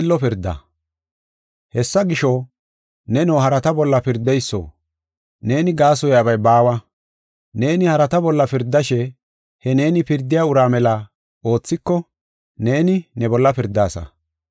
Hessa gisho, neno harata bolla pirdeyso, neeni gaasoyabay baawa. Neeni harata bolla pirdashe, he neeni pirdiya uraa mela oothiko, neeni, ne bolla pirdaasa.